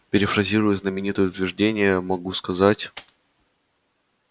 перефразируя знаменитое утверждение могу сказать